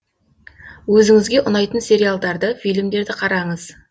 өзіңізге ұнайтын сериалдарды фильмдерді қараңыз